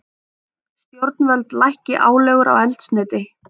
Stjórnvöld lækki álögur á eldsneyti